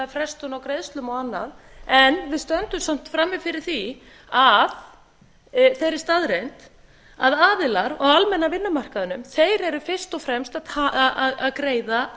frestun á greiðslum og annað en við stöndum samt frammi fyrir þeirri staðreynd að aðilar á almenna vinnumarkaðnum eru fyrst og fremst að greiða